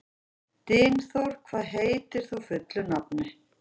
Dynþór, hvað heitir þú fullu nafni?